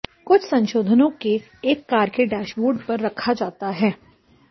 कुछ संशोधनों के एक कार के डैशबोर्ड पर रखा जाता है